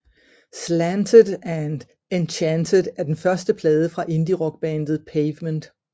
Slanted and Enchanted er den første plade fra indierockbandet Pavement